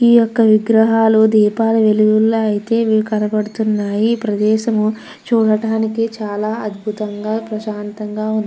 ఈ యొక్క విగ్రహాలు దీపాల వెలుగుల్ల అయితే ఇవి కనపడుతున్నాయి ఈ ప్రదేశము చూడడానికి చాలా అద్భుతంగా ప్రశాంతంగా ఉంది.